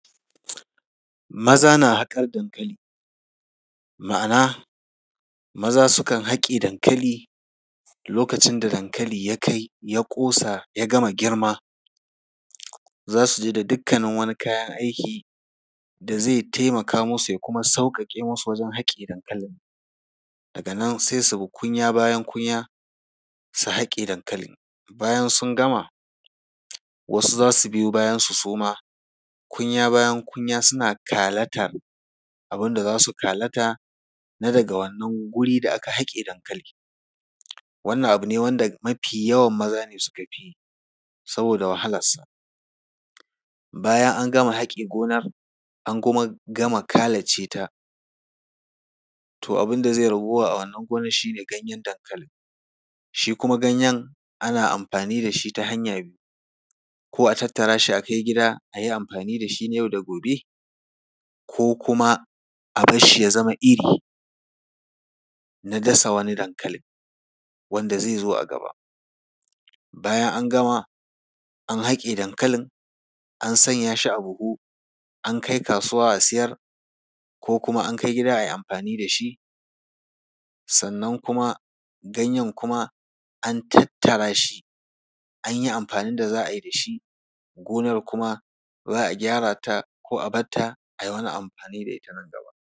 Maza na haƙar dankali, ma’ana, maza sukan haƙe dankali, lokacin da dankali ya kai, ya ƙosa, ya gama girma, za su je da dukkanin wani kayan aiki da zai taimaka musu ya kuma sauƙaƙe musu wajen haƙe dankalin. Daga nan, sai bi kunya bayan kunya su haƙe dankalin. Bayan sun gama, wasu za su biyo su, su ma, kunya bayan kunya suna kalatar abin da za su kalata na daga wannan guri da aka haƙe dankali. Wannan abu ne wanda mafi yawan maza ne sukafi yi saboda wahalarsa. Bayan an gama haƙe gona, an kuma gama kalace ta, to abin da zai ragowa a wannan gonar shi ne ganyen dankalin. Shi kuma ganyen, ana amfani da shi ta hanya biyu, ko a tattara shi a kai gida a yi amfani da shi na yau da gobe, ko kuma a bar shi ya zama iri na dasa wani dankalin wanda zai zo a gaba. Bayan an gama, an haƙe dankalin, an sanya shi a buhu, an kai kasuwa a siyar, ko kuma an kai gida a yi amfani da shi, sannan kuma ganyen kuma an tattara shi, an yi amfanin da za a yi da shi gonar kuma za a gyara ta ko a bar ta a yi wani amfani da ita nan gaba.